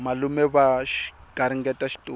malume va garingeta xitori